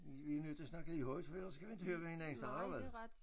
Vi vi er nødt til at snakke lidt højt for ellers kan vi inte høre hvad hinanden siger vel